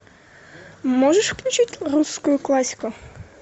можешь включить русскую классику